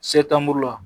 la